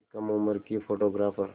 एक कम उम्र की फ़ोटोग्राफ़र